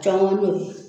Jɔnko n'o ye